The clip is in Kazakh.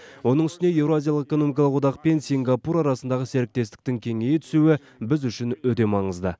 оның үстіне еуразиялық экономикалық одақпен сингапур арасындағы серіктестіктің кеңейе түсуі біз үшін өте маңызды